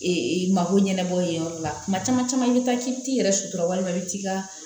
mako ɲɛnabɔ yen yɔrɔ la kuma caman caman i bɛ taa k'i bɛ t'i yɛrɛ sutura walima i bɛ t'i ka